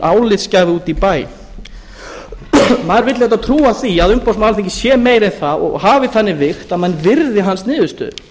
álitsgjafi úti í bæ maður vill auðvitað trúa því að umboðsmaður alþingis sé meira en það og hafi þannig vigt að menn virði hans niðurstöður